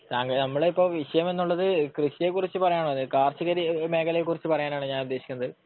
താങ്കൾ, നമ്മുടെ ഇപ്പോൾ വിഷയം എന്നുള്ളത് കൃഷിയെക്കുറിച്ച് പറയാനാണ്. കാർഷിക മേഖലയെക്കുറിച്ച് പറയാനാണ് ഞാൻ ഉദ്ദേശിക്കുന്നത്.